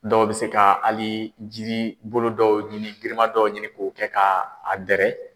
Dɔw bɛ se ka hali jiri bolo dɔw ɲini girimandɔ ɲini k'o kɛ ka a dɛrɛ.